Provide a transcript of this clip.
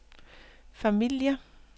familier